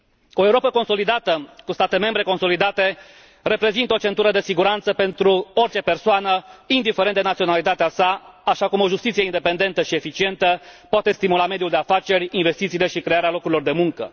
O Europă consolidată, cu state membre consolidate, reprezintă o centură de siguranță pentru orice persoană, indiferent de naționalitatea sa, așa cum o justiție independentă și eficientă poate stimula mediul de afaceri, investițiile și crearea locurilor de muncă.